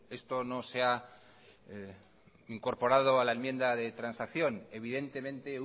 esto no se ha incorporado a la enmienda de transacción evidentemente